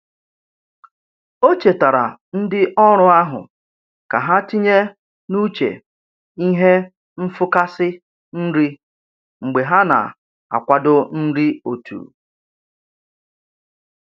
O chetaara ndị ọrụ ahụ ka ha tinye n'uche ihe nfụkasị nri mgbe ha na-akwadebe nri otu.